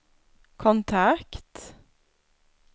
kontakt